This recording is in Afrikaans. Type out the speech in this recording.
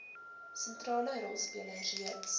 sentrale rolspelers reeds